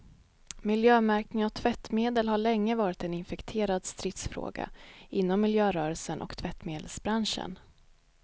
Miljömärkningen av tvättmedel har länge varit en infekterad stridsfråga inom miljörörelsen och tvättmedelsbranschen.